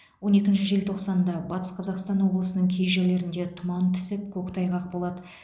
он екінші желтоқсанда батыс қазақстан облысының кей жерлерінде тұман түсіп көктайғақ болады